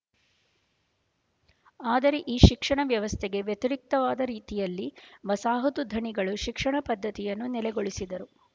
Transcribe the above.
ಆದರೆ ಈ ಶಿಕ್ಷಣ ವ್ಯವಸ್ಥೆಗೆ ವ್ಯತರಿಕ್ತವಾದ ರೀತಿಯಲ್ಲಿ ವಸಾಹತು ಧಣಿಗಳು ಶಿಕ್ಷಣ ಪದ್ಧತಿಯನ್ನು ನೆಲೆಗೊಳಿಸಿದರು